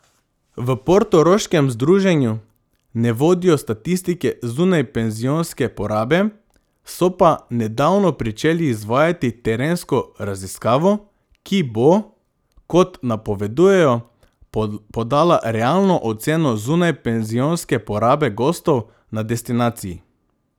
V portoroškem združenju ne vodijo statistike zunajpenzionske porabe, so pa nedavno pričeli izvajati terensko raziskavo, ki bo, kot napovedujejo, podala realno oceno zunajpenzionske porabe gostov na destinaciji.